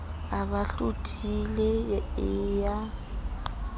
a bo hlothile e ya